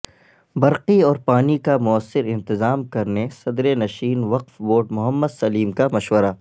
برقی اور پانی کا موثر انتظام کرنے صدرنشین وقف بورڈ محمد سلیم کا مشورہ